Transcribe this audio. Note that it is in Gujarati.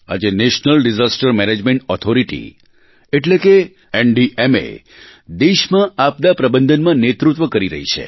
આજે નેશનલ ડિઝાસ્ટર મેનેજમેન્ટ ઓથોરિટી એટલે કે એનડીએમએ દેશમાં આપદાપ્રબંધનમાં નેતૃત્વ કરી રહી છે